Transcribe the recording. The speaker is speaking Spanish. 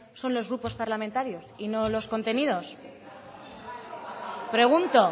son los grupos parlamentarios y no los contenidos pregunto